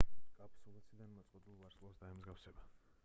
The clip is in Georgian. კაფსულა ციდან მოწყვეტილ ვარსკვლავს დაემსგავსება